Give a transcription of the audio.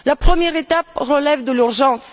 La première étape relève de l'urgence.